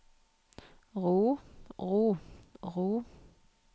ro ro ro